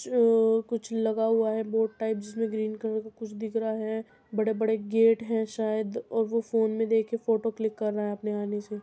चो कुछ लगा हुआ है बोर्ड टाइप जिसमे ग्रीन कलर का कुछ दिख रहा है बड़े-बड़े गेट है शायद और वो फ़ोन में देखे के फोटो क्लिक कर रहा है अपने आने से।